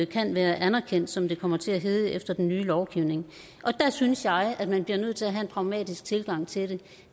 kan være anerkendt som det kommer til at hedde efter den nye lovgivning der synes jeg at man bliver nødt til at have en pragmatisk tilgang til det